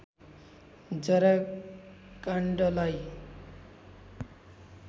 जरा काण्डलाई